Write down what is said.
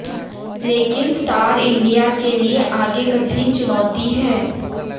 लेकिन Star India के लिए आगे कठिन चुनौती है